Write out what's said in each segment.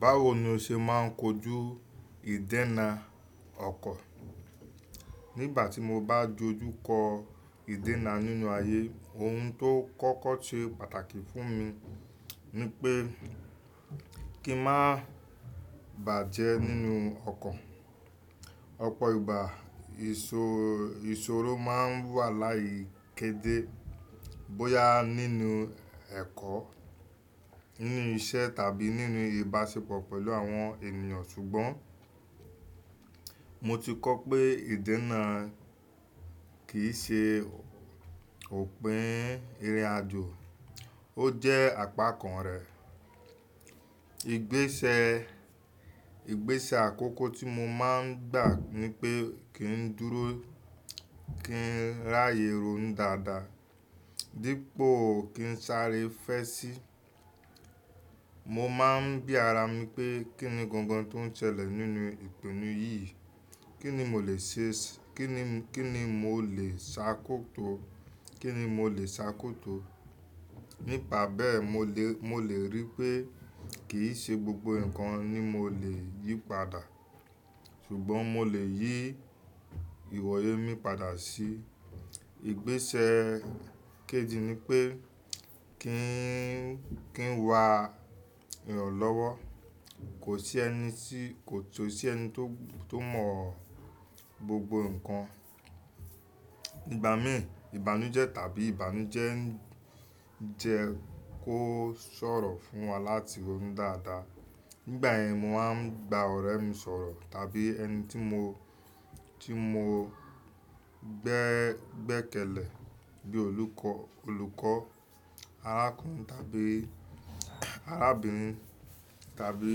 Báwo ni o ṣe máà ń kojú ìdẹ́na ọkọ̀? Nígbà tí mo bá dojú kọ ìdẹ́na nínú ayé, ohun tó kọ́kọ́ ṣe pàtàkì fún mi ni pé kí n má bàjẹ́ nínú ọkọ̀. Ọpọ̀ ìgbà, ìṣòró máa n wà láyé kedé bóyá nínú ẹ̀kọ́, nínú iṣẹ́ tàbí nínú ìbáṣepọ̀ pẹ̀lú àwọn ènìyàn ṣùgbọ́n mo ti kọ́ pé ìdẹ́na kì í ṣe òpin ìrìnàjò, ó jẹ́ àpá kan rẹ̀. Igbésẹ àkọ́kọ́ tí mo máa ń gbà ni pé kí n dúró, kí n ráyè rún dàda dípò kí n sáré fẹ́ sí. Mo máa ń bí ara mi pé kín ni gangan tó n ṣẹlẹ̀ nínú ìpinnu yìí, kín ni mo lè ṣàkóto? Nípa bẹ́ẹ̀, mo lè ríi pé kì í ṣe gbogbo ǹkan ni mo lè yí padà ṣùgbọ́n mo lè yí ìwòye mi padà sí i. Igbésẹ̀ kejì ni pé kí n wa iràn lọ́wọ́. Kò sí ẹni tí kò sì ẹni tó mọ̀ gbogbo ǹkan. Igbà mí ìbànújẹ́ tàbí ìbànújẹ́ jẹ kó sọ̀rọ̀ fún wa láti rún dàda. Nígbà yẹn mo máa ń gba ọ̀rẹ́ mi sọ̀rọ̀ tàbí ẹni tí mo gbẹ́kẹ̀lé bíi olùkọ́ arákùnrin tàbí arábìnrin tàbí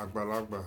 àgbàlagbà.